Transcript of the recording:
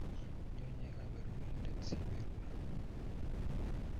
Nyo, lnye, Kaberurindet si beruron